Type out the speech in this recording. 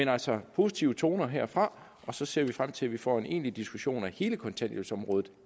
er altså positive toner herfra og så ser vi frem til at vi får en egentlig diskussion af hele kontanthjælpsområdet